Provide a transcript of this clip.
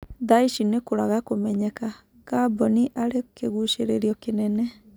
Thaici nĩkũraga kũmenyeka, Ngamboni arĩ kĩgucirĩrĩo kĩnene.